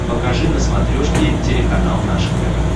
покажи на смотрешке телеканал наше тв